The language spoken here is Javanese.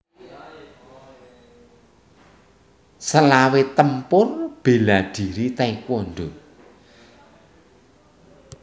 Selawe Tempur bela diri taekwondo